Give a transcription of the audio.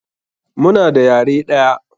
Muna da yare ɗaya.